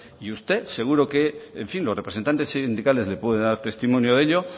y usted seguro que en fin los representantes sindicales le pueden dar testimonio de ello